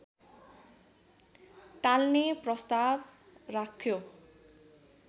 टाल्ने प्रस्ताव राख्यो